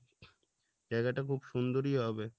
জায়গাটা খুব সুন্দরই হবে